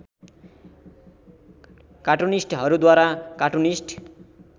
कार्टुनिस्टहरूद्वारा cartoonist